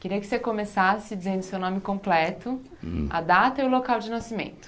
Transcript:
Queria que você começasse dizendo o seu nome completo, a data e o local de nascimento.